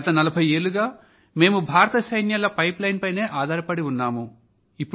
గత నలభై ఏళ్ళుగా మేము భారత సైన్యాల పైప్ లైన్ పైనే ఆధారపడి ఉన్నాం